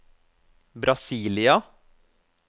Brasília